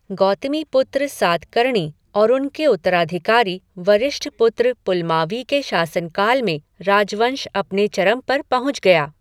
गौतमीपुत्र सातकर्णी और उनके उत्तराधिकारी वशिष्ठपुत्र पुलमावी के शासनकाल में राजवंश अपने चरम पर पहुँच गया।